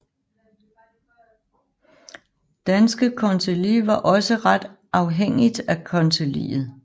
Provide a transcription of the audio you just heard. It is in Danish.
Danske Kancelli var også ret afhængigt af konseillet